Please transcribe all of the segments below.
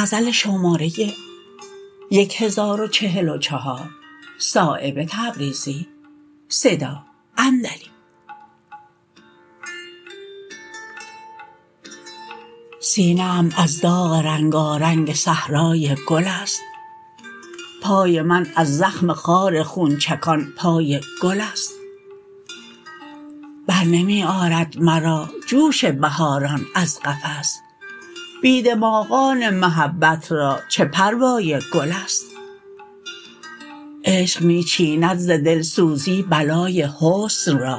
سینه ام از داغ رنگارنگ صحرای گل است پای من از زخم خار خونچکان پای گل است برنمی آرد مرا جوش بهاران از قفس بی دماغان محبت را چه پروای گل است عشق می چیند ز دلسوزی بلای حسن را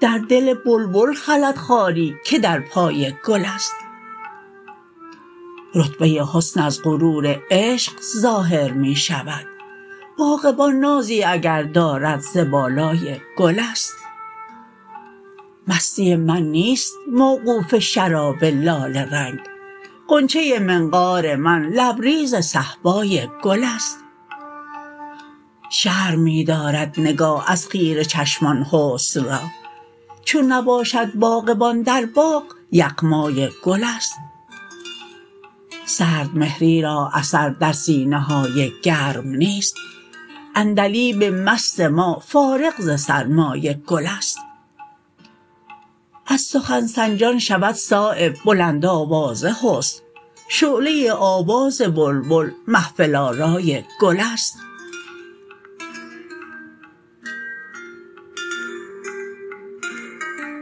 در دل بلبل خلد خاری که در پای گل است رتبه حسن از غرور عشق ظاهر می شود باغبان نازی اگر دارد ز بالای گل است مستی من نیست موقوف شراب لاله رنگ غنچه منقار من لبریز صهبای گل است شرم می دارد نگاه از خیره چشمان حسن را چون نباشد باغبان در باغ یغمای گل است سردمهری را اثر در سینه های گرم نیست عندلیب مست ما فارغ ز سرمای گل است از سخن سنجان شود صایب بلند آوازه حسن شعله آواز بلبل محفل آرای گل است